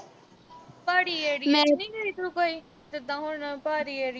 ਪਹਾੜੀ area ਚ ਨੀਂ ਗਈ ਤੂੰ ਕੋਈ? ਜਿਦਾਂ ਹੁਣ ਪਹਾੜੀ area